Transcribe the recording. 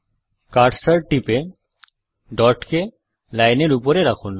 cursor টিপে ডটকে লাইনের উপরে রাখুন